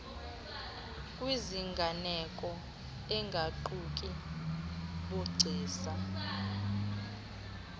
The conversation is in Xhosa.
kwiziganeko engaquki bugcisa